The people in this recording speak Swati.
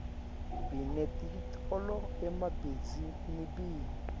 binetitolo emabihzinibini